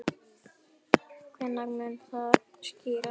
Hvenær mun það skýrast?